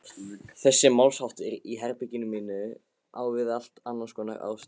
Þessi málsháttur í herberginu mínu á við allt annarskonar ást.